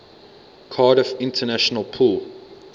cardiff international pool